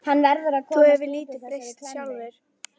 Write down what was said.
Þú hefur nú lítið breyst sjálfur.